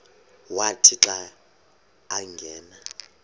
wathi xa angena